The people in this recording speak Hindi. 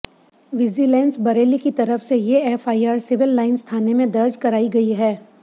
विजिलेंस बरेली की तरफ से ये एफआईआर सिविल लाइंस थाने में दर्ज कराई गई है